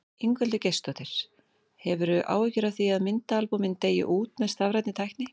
Ingveldur Geirsdóttir: Hefurðu áhyggjur af því að myndaalbúmin deyi út með stafrænni tækni?